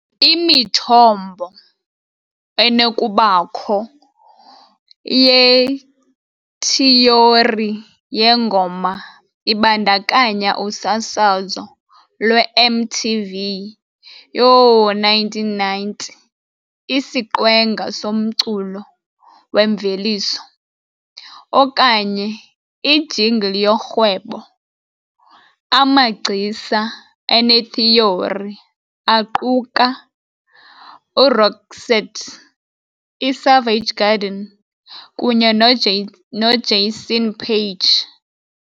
Imithombo enokubakho iyeyithiyori yengoma ibandakanya usasazo lweMTV yoo-1990, isiqwenga somculo wemveliso, okanye ijingle yorhwebo, amagcisa ane-theory aquka uRoxette, iSavage Garden, kunye noJason Paige.